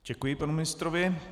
Děkuji panu ministrovi.